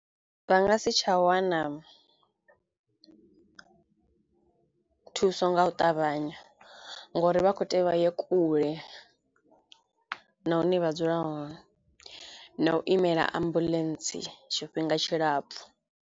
Vha nga si tsha wana thuso nga u ṱavhanya ngori vha kho tea uri vha ye kule nahone vha dzula hone na u imela ambuḽentse tshifhinga tshilapfhu.